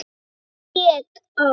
ÉG Á